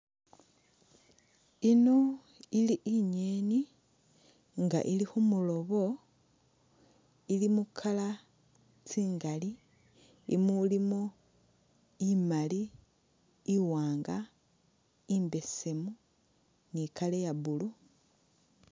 Ino ili ingeni inga ili khumulobo ili mu color tsingali imo ilimo imali, iwannga, imbesemu, ni color iya'blue